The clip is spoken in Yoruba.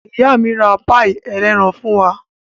Ìyá mi ra páíì ẹlẹ́ran fún wa.